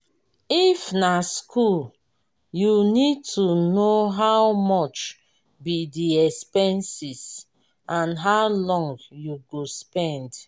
if na school you need to know how much be di expenses and how long you go spend